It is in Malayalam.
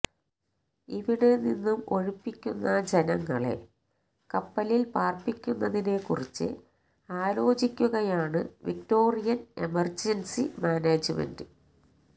ഇവിടെ നിന്നും ഒഴിപ്പിക്കുന്ന ജനങ്ങളെ കപ്പലില് പാര്പ്പിക്കുന്നതിനെ കുറിച്ച് ആലോചിക്കുകയാണ് വിക്ടോറിയന് എമര്ജന്സി മാനേജ്മെന്റ്